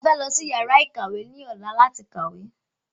A fẹ́ lọ sí yàrá ìkàwé ilé ẹ̀kọ́ ní ọ̀la láti kàwé